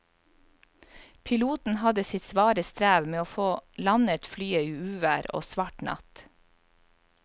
Piloten hadde sitt svare strev med å få landet flyet i uvær og svart natt.